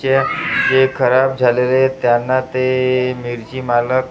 जे जे खराब झालेले आहेत त्यांना ते मिरची मालक ते --